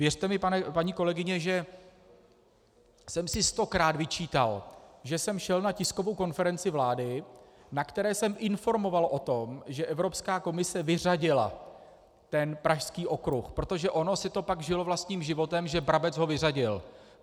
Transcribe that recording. Věřte mi, paní kolegyně, že jsem si stokrát vyčítal, že jsem šel na tiskovou konferenci vlády, na které jsem informoval o tom, že Evropská komise vyřadila ten Pražský okruh, protože ono si to pak žilo vlastním životem, že Brabec ho vyřadil.